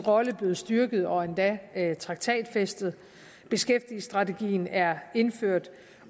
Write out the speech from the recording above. rolle blevet styrket og endda traktatfæstet beskæftigelsesstrategien er indført